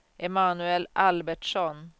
Emanuel Albertsson